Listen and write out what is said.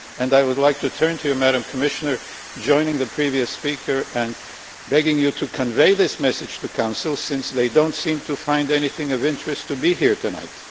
I would like to turn to you, Madam Commissioner, joining the previous speaker and beg you to convey this message to the Council since they do not seem to find anything of interest to be here tonight.